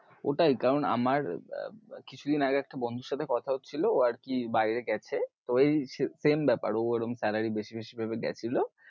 ওইটাই কারণ আমার কিছুদিন আগে একটা বন্ধুর সাথে কথা হচ্ছিলো, ও আর কি বাইরে গেছে তো ওই same ব্যাপার ঔ ওরম salary বেশি বেশি ভেবে গেছিলো